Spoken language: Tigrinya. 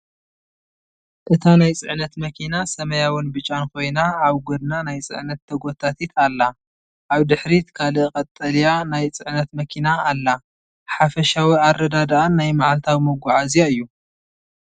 እታ ናይ ጽዕነት መኪና ሰማያውን ብጫን ኮይና፡ ኣብ ጎድና ናይ ጽዕነት ተጎታቲት ኣላ። ኣብ ድሕሪት ካልእ ቀጠልያ ናይ ጽዕነት መኪና ኣላ። ሓፈሻዊ ኣረዳድኣን ናይ መዓልታዊ መጓዓዝያ እዩ።